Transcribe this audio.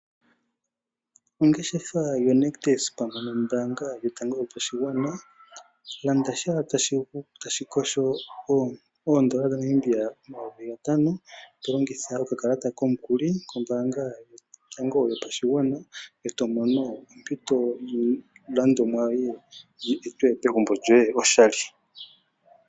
Ongeshefa yaNictus pamwe nombaanga yotango yopashigwana, landa tya tashikosho oondola dhaNamibia omayovi gatano tolongitha okakalata komukuli kombaanga yotango yopashigwana e tomono ompito yiilandomwa yoye yi etwe pegumbo lyoye oshali.